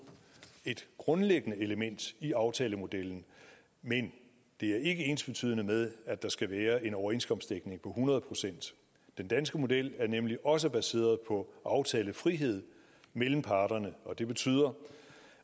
et grundlæggende element i aftalemodellen men det er ikke ensbetydende med at der skal være en overenskomstdækning på hundrede procent den danske model er nemlig også baseret på aftalefrihed mellem parterne og det betyder